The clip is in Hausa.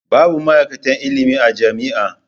Babu ma'aikatan ilimi a jami'a.